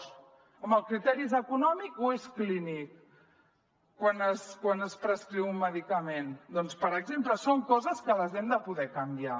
home el criteri és econòmic o és clínic quan es prescriu un medicament doncs per exemple són coses que les hem de poder canviar